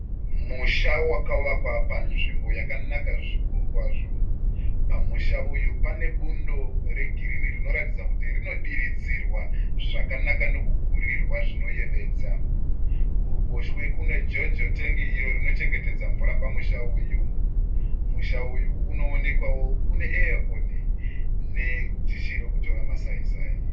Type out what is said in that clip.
Musha wakavakwa panzvimbo yakanaka zvikuru kwazvo. Pamusha uyu pane bundo regirinhi rinoratidza kuti rinodiridzirwa zvakanaka nekugurirwa zvinoyevedza. Kuruboshwe kune jojo tengi iro rinochengetedza mvura pamusha uyu. Musha uyu unoonekwawo une eya koni ne dhishi rekutora ma sai-sai.